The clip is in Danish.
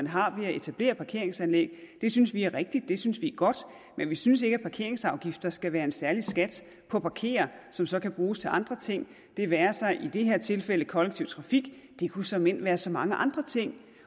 har ved at etablere parkeringsanlæg det synes vi er rigtigt det synes vi er godt men vi synes ikke at parkeringsafgifter skal være en særlig skat på at parkere som så kan bruges til andre ting det være sig i det her tilfælde kollektiv trafik det kunne såmænd være så mange andre ting